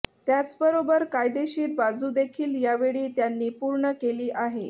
त्याचबरोबर कायदेशीर बाजू देखील यावेळी त्यांनी पूर्ण केली आहे